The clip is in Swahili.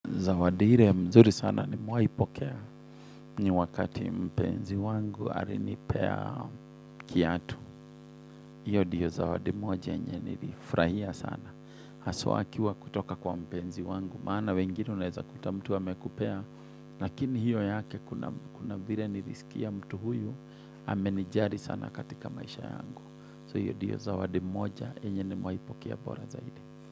Zawadi ile mzuri sana nimewahi pokea ni wakati mpenzi wangu alinipea kiatu. Hiyo ndiyo zawadi moja yenye nilifurahia sana. Haswa akiwa kutoka kwa mpenzi wangu. Maana wengine unaweza kuta mtu amekupea. Lakini hiyo yake kuna vile nilisikia mtu huyu. Amenijali sana katika maisha yangu. So hiyo ndiyo zawadi moja enye nimewahi pokea bora zaidi.